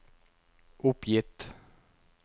oppgitt